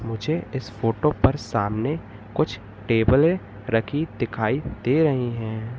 मुझे इस फोटो पर सामने कुछ टेबले रखी दिखाई दे रही हैं।